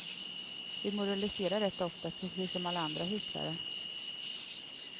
Vi moraliserar rätt ofta, precis som alla andra hycklare.